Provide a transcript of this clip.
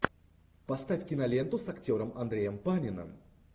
поставь киноленту с актером андреем паниным